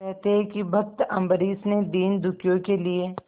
कहते हैं भक्त अम्बरीश ने दीनदुखियों के लिए